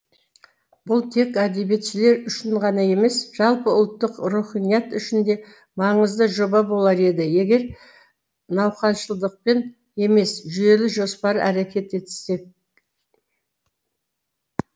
бұл тек әдебиетшілер үшін ғана емес жалпы ұлттық руханият үшін де маңызды жоба болар еді егер науқаншылдықпен емес жүйелі жоспары әрекет етсек